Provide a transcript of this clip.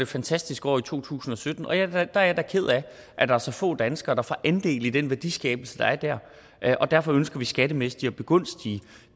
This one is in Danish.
fantastisk år i to tusind og sytten og jeg da ked af at der er så få danskere der får andel i den værdiskabelse der der er og derfor ønsker vi skattemæssigt at begunstige